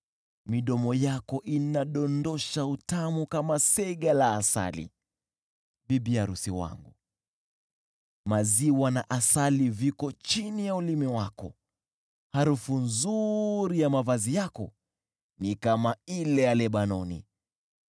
Midomo yako inadondosha utamu kama sega la asali, bibi arusi wangu; maziwa na asali viko chini ya ulimi wako. Harufu nzuri ya mavazi yako ni kama ile ya Lebanoni.